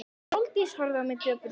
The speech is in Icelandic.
Sóldís horfði á mig döprum augum.